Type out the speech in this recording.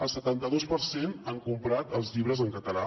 el setanta dos per cent han comprat els llibres en català